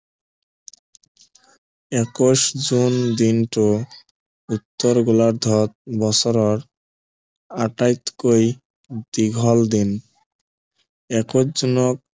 একৈশ জোন দিনটো বিষুৱ গোলাৰ্ধত বছৰৰ আটাইতকৈ দীঘল দিন একৈশ জোনক